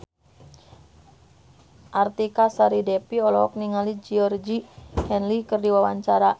Artika Sari Devi olohok ningali Georgie Henley keur diwawancara